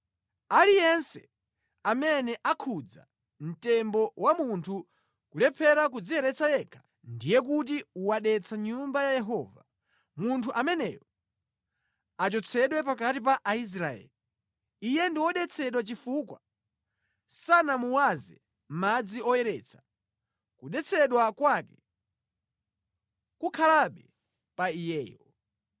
Aliyense amene akhudza mtembo wa munthu nʼkulephera kudziyeretsa yekha, ndiye kuti wadetsa Nyumba ya Yehova. Munthu ameneyo achotsedwe pakati pa Aisraeli. Iye ndi wodetsedwa chifukwa sanamuwaze madzi oyeretsa; kudetsedwa kwake kukhalabe pa iyeyo.